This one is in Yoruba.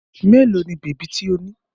Mélòó ni bèbí tí ó ní?